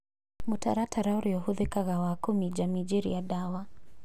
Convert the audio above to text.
Mũtaratara ũrĩa ũhũthĩkaga wa kũminjaminjĩria ndawa